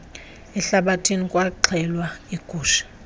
ehlathini kwaxhelwa iigusha